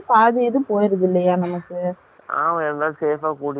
ஆமா, எல்லாத்தையும் safe அ கூட்டிடு போய் விடராங்க இல